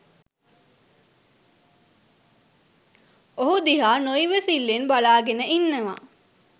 ඔහු දිහා නො ඉවසිල්ලෙන් බලා ගෙන ඉන්නවා.